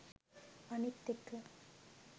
අනිත් එක